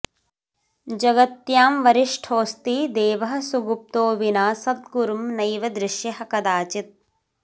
जगत्यां वरिष्ठोऽस्ति देवः सुगुप्तो विना सद्गुरुं नैव दृश्यः कदाचित्